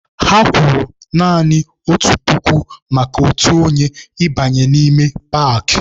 Ha kwụrụ naanị otu puku maka otu onye ịbanye n'ime paakị.